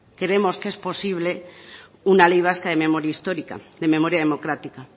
creemos que es posible una ley vasca de memoria histórica de memoria democrática